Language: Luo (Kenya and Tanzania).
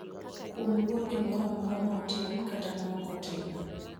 kuom luor gimoro amora ma otim kata ma ok otim